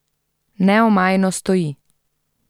Neomajno stoji!